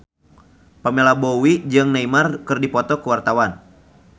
Pamela Bowie jeung Neymar keur dipoto ku wartawan